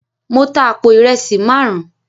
Mo tá àpò ìrẹsì márùn